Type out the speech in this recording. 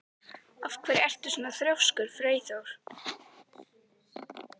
Af hverju ertu svona þrjóskur, Freyþór?